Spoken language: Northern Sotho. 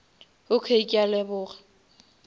okay ke a leboga